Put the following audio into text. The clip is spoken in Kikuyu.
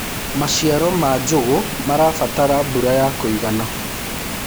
maciaro ma njugu marabatara mbura ya kũigana